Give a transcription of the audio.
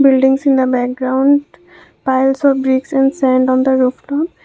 buildings in the background piles of bricks and sand on the roof top.